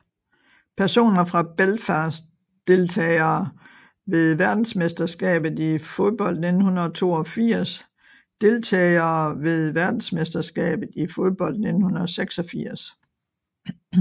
Personer fra Belfast Deltagere ved verdensmesterskabet i fodbold 1982 Deltagere ved verdensmesterskabet i fodbold 1986